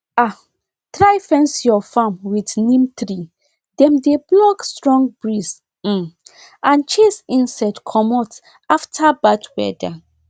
um try fence your farm with neem tree dem dey block strong breeze um and chase insect commot after bad weather